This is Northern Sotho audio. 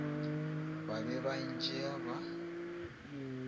ba be ba ntšea ba